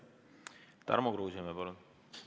Tarmo Kruusimäe, palun!